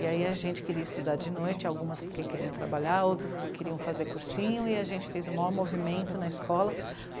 E aí a gente queria estudar de noite, algumas porque queriam trabalhar, outras porque queriam fazer cursinho, e a gente fez o maior movimento na escola.